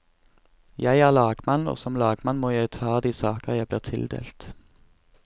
Jeg er lagmann, og som lagmann må jeg ta de saker jeg blir tildelt.